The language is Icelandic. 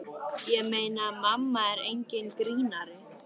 Ég meina, mamma er enginn grínari.